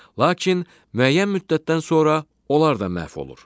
Lakin müəyyən müddətdən sonra onlar da məhv olur.